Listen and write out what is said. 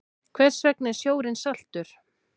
Hvers vegna er sjórinn saltur?